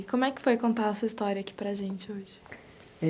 E como é que foi contar essa história aqui para a gente hoje?